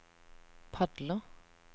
padler